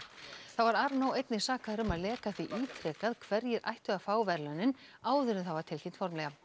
þá var einnig sakaður um að leka því ítrekað hverjir ættu að fá verðlaunin áður en það var tilkynnt formlega